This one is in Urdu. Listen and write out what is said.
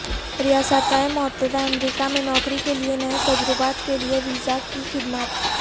ریاستہائے متحدہ امریکہ میں نوکری کے لئے نئے تجربات کے لئے ویزا کی خدمات